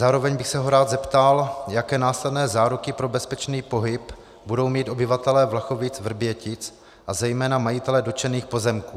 Zároveň bych se ho rád zeptal, jaké následné záruky pro bezpečný pohyb budou mít obyvatelé Vlachovic-Vrbětic a zejména majitelé dotčených pozemků.